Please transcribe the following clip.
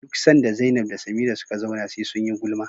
duk sanda Zainab da Samira suka zauna SE sunyi gulma